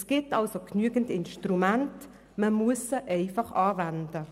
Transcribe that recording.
Es gibt also genügend Instrumente, man muss sie einfach anwenden.